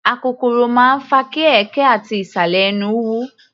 Akokoro máa ń fa kí ẹ̀ẹ̀kẹ́ ati ìsàlẹ̀ ẹnú wú.